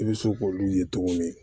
I bɛ se k'olu ye tuguni